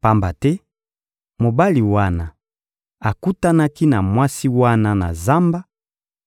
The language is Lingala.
Pamba te mobali wana akutanaki na mwasi wana na zamba,